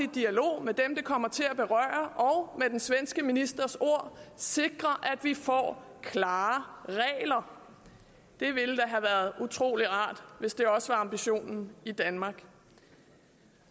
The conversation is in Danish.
dialog med dem det kommer til at berøre og med den svenske ministers ord sikrer at vi får klare regler det ville da have været utrolig rart hvis det også var ambitionen i danmark